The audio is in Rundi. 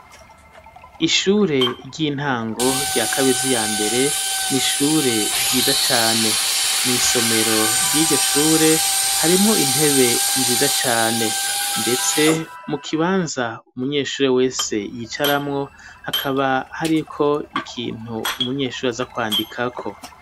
Ishure ry'intango rya kabezi ya mbere n'ishure ryiza cane mw' isomero ry'ijyoshure harimo intebe nziza cyane ndetse mu kibanza umunyeshure wese yicaramwo hakaba hariko ikintu umunyeshuri aza kwandikako.